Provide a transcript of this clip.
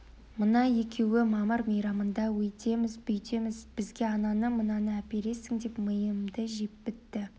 мына екеуі мамыр мейрамында өйтеміз-бүйтеміз бізге ананы-мынаны әпересің деп миымды жеп бітті